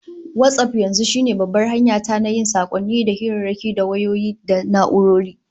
WhatsApp yanzu shine babbar hanya ta na yin sakonni da hirarraki ta wayoyi da na'urori